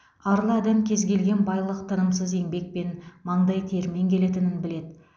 арлы адам кез келген байлық тынымсыз еңбекпен маңдай термен келетінін біледі